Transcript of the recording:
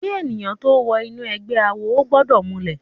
Ki èniyán tó wò inú ègbè àwó ógbòdò múlè